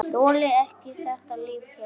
Þoli ekki þetta líf hérna.